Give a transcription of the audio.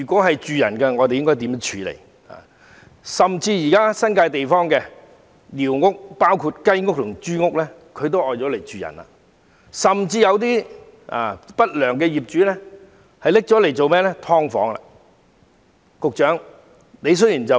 須知道，現時甚至連新界地區的一些雞屋和豬屋也被人用作居所，更有不良業主將該等寮屋改作"劏房"出租。